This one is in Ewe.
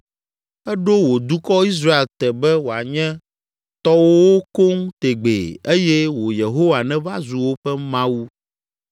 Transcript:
Èɖo wò dukɔ, Israel te be woanye tɔwòwo koŋ tegbee eye wò Yehowa nèva zu woƒe Mawu.